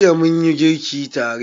Jiya munyi girki tare.